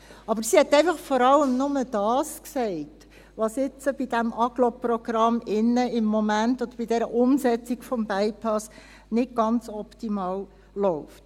Aber sie hat einfach vor allem nur das gesagt, was bei diesem Agglo-Programm oder bei der Umsetzung dieses Bypasses im Moment nicht ganz optimal läuft.